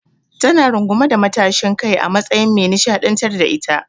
Ta na rungume da matashin kai a matsayin me nishaɗantar da ita.